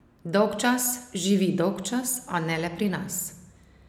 Dolgčas, živi dolgčas, a ne le pri nas.